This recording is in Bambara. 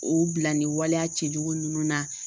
O bila ni waleya cɛjugu ninnu na